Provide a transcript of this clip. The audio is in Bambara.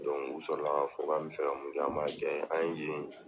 u sɔrɔla ka fɔ, ka mi fɛ ka mun kɛ, ma ja, an ye yen